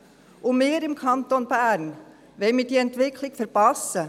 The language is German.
Und wir im Kanton Bern, wollen wir diese Entwicklung verpassen?